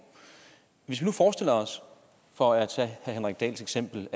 hvis vi nu forestiller os for at tage herre henrik dahls eksempel